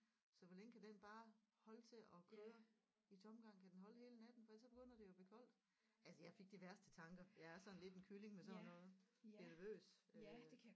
Så hvor længe kan den bare holde til at køre i tomgang kan den holde hele natten for ellers så begynder det jo at blive koldt altså jeg fik de værste tanker jeg er sådan lidt en kylling med sådan noget bliver nervøs øh